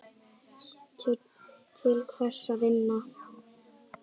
Til hvers að vinna?